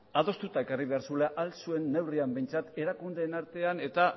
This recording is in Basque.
adostuta ekarri behar zuela ahal zuen neurrian behintzat erakundeen artean eta